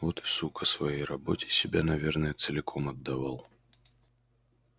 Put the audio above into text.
вот и сука своей работе себя наверное целиком отдавал